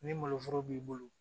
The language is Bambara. Ni maloforo b'i bolo